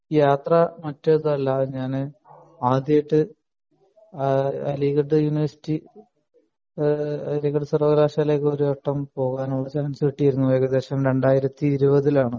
യാത്ര ഞാൻ ആദ്യായിട്ട് അലിഗഡ് യൂണിവേഴ്സിറ്റി അലിഗഡ് സർവ്വകശാലയിലേക്ക് പോകാൻ ഒരു ചാൻസ് കിട്ടിയിരുന്നു ഏകദേശം രണ്ടായിരത്തി ഇരുപതിൽ ആണ്